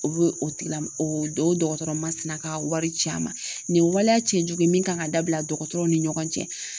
O be o tigila oo dɔgɔtɔrɔ masina ka wari ci a ma, nin ye waleya cɛjugu ye min kan ka dabila dɔgɔtɔrɔw ni ɲɔgɔn cɛ.